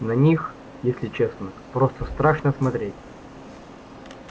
на них если честно просто страшно смотреть